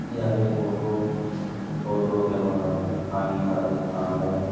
यह एक ऑटो है। ऑटो के बगल में पानी का दुकान है।